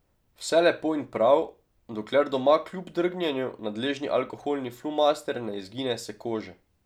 Vse lepo in prav, dokler doma kljub drgnjenju nadležni alkoholni flomaster ne izgine s kože.